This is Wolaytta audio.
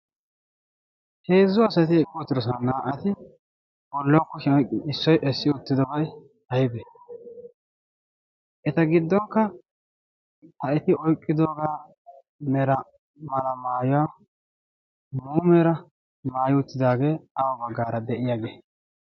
heezzu asati eqqi utidosona naa'ati bollau ku shaa issoy essi uttidobay aybe? eta giddonkka ha eti oiqqidoogaa mera mala maayuwaa mera maayi uttidaagee baggaara deyiyaagee?